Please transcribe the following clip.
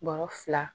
Bɔrɔ fila